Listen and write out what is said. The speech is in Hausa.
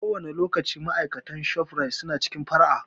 Kowane lokaci ma'aikatan ShofRite su na cikin fara'a